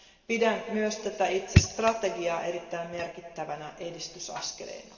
Pidän myös itse strategiaa erittäin merkittävänä edistysaskeleena.